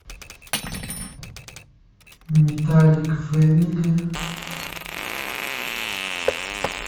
металлик фемили